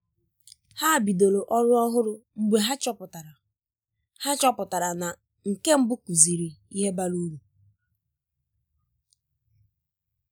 Ha bidoro ọrụ ọhụrụ mgbe ha chọpụtara ha chọpụtara na nke mbụ kuziri ihe bara uru